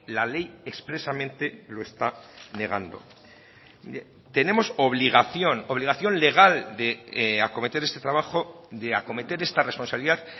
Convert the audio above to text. la ley expresamente lo está negando tenemos obligación obligación legal de acometer este trabajo de acometer esta responsabilidad